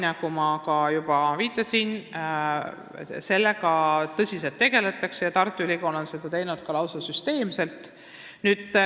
Nagu ma juba viitasin, sellega tõsiselt tegeldakse ja Tartu Ülikool on seda teinud lausa süsteemselt.